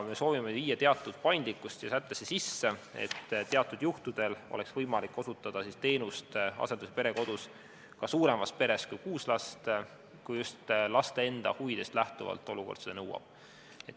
Me soovime viia teatud paindlikkust siia sättesse sisse, et teatud juhtudel oleks võimalik osutada teenust asendus- ja perekodus ka suuremas peres kui kuus last, kui just laste enda huvidest lähtuvalt olukord seda nõuab.